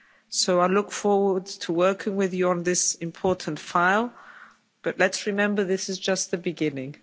So I look forward to working with you on this important file, but let's remember this is just the beginning.